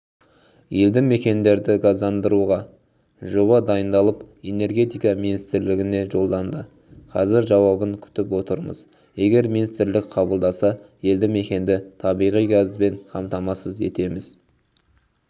елді мекендерді газдандыруға жоба дайындалып энергетика министрлігіне жолданды қазір жауабын күтіп отырмыз егер министрлік қабылдаса елді мекенді табиға газбен қамтамасыз етеміз